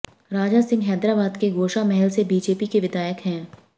राजा सिंह हैदराबाद के गोशा महल से बीजेपी के विधायक हैं